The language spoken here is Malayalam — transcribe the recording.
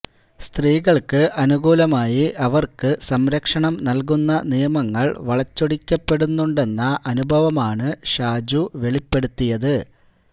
സ്ത്രീകൾക്ക് അനുകൂലമായി അവർക്ക് സംരക്ഷണം നൽകുന്ന നിയമങ്ങൾ വളച്ചൊടിക്കപ്പെടുന്നുണ്ടെന്ന അനുഭവമാണ് ഷാജു വെളിപ്പെടുത്തിയത്